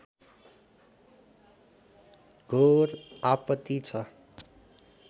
घोर आपती छ